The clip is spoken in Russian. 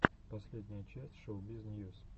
последняя часть шоубиз ньюс